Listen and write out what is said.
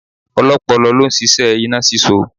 Ọlọ́pọlọ ló ń ṣíṣẹ́ iná sísó